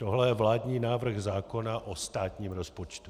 Tohle je vládní návrh zákona o státním rozpočtu.